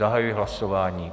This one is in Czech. Zahajuji hlasování.